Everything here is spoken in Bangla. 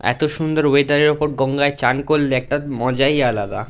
এতো সুন্দর ওয়েদার এর উপর গঙ্গায় চ্যান করলে একটা মজাই আলাদা ।